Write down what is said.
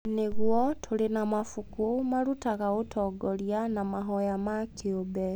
Nĩguo, tũrĩ na mabuku marutaga ũtongoria wa mahoya ma kĩũmbe.